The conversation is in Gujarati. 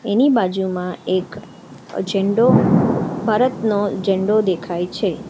એની બાજુમાં એક અહ ઝંડો ભારતનો ઝંડો દેખાય છે.